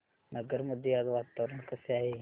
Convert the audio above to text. नगर मध्ये आज वातावरण कसे आहे